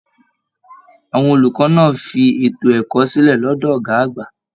Àwọn olùkọ náà fí ètò ẹ̀kọ́ sílẹ lọdọ ọgá àgbà.